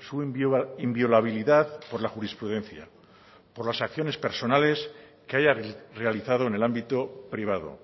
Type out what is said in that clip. su inviolabilidad por la jurisprudencia por las acciones personales que haya realizado en el ámbito privado